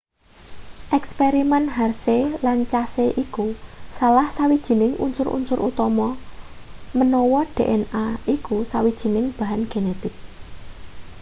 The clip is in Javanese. eksperimen harshey lan chase iku salah sawijining unsur-unsur utama menawa dna iku sawijining bahan genetik